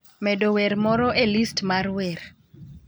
medo wer moro e list mar wer.